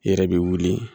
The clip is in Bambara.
I yɛrɛ bi wuli